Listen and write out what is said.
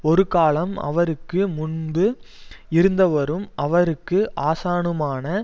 ஒரு காலம் அவருக்கு முன்பு இருந்தவரும் அவருக்கு ஆசானுமான